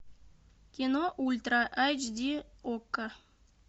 кино ультра айч ди окко